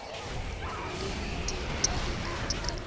leng di telele dikarolo tse